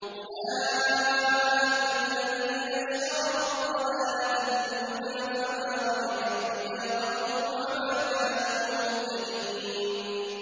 أُولَٰئِكَ الَّذِينَ اشْتَرَوُا الضَّلَالَةَ بِالْهُدَىٰ فَمَا رَبِحَت تِّجَارَتُهُمْ وَمَا كَانُوا مُهْتَدِينَ